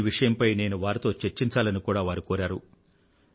ఈ విషయంపై నేను వారితో చర్చించాలని కూడా వారు కోరారు